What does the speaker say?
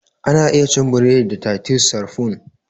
Ana iya cin buredi da titus sarfun